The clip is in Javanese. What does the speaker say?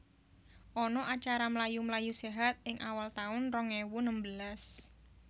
Ana acara mlayu mlayu sehat ing awal taun rong ewu nembelas